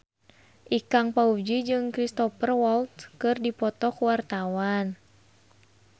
Ikang Fawzi jeung Cristhoper Waltz keur dipoto ku wartawan